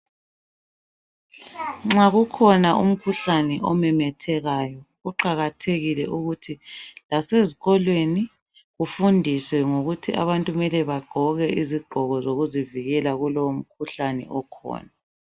Nxa kukhona umkhuhlane omemethekayo kuqakathekile ukuthi lasezikolweni kufundiswe ngokuthi abantu kumele bagqoke izigqoko zokuzivikela kulowomkhuhlaneni okhona.